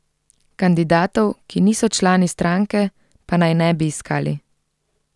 Kandidatov, ki niso člani stranke, pa naj ne bi iskali.